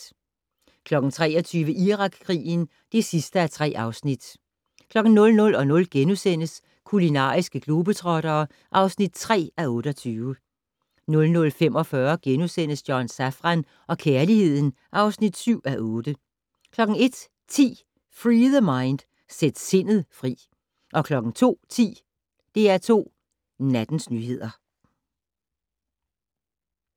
23:00: Irakkrigen (3:3) 00:00: Kulinariske globetrottere (3:28)* 00:45: John Safran og kærligheden (7:8)* 01:10: Free The Mind - Sæt sindet fri 02:10: DR2 Nattens nyheder